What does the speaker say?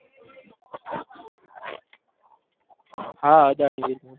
હા અદાણી વિલમાર